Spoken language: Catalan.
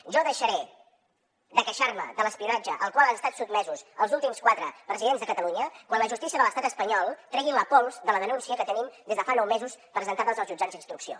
jo deixaré de queixar me de l’espionatge al qual han estat sotmesos els últims quatre presidents de catalunya quan la justícia de l’estat espanyol tregui la pols de la denúncia que tenim des de fa nou mesos presentada als jutjats d’instrucció